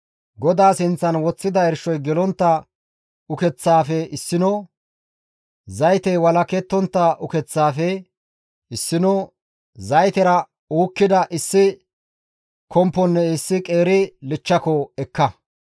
GODAA sinththan woththida irshoy gelontta ukeththaafe issino, zaytey walakettontta ukeththaafe issino, zaytera uukkida issi komponne issi qeeri kompa ekka.